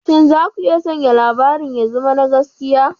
Shin za ku iya sanya labarin ya zama na gaskiya?